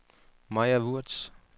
Maja Würtz